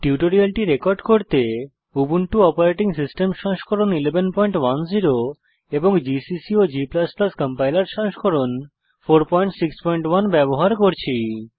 টিউটোরিয়ালটি রেকর্ড করতে Ubuntu operating system সংস্করণ 1110 এবং জিসিসি ও g কম্পাইলার সংস্করণ 461 ব্যবহার করছি